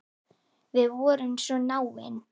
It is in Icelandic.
Við vorum svo náin.